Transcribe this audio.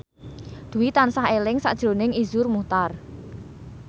Dwi tansah eling sakjroning Iszur Muchtar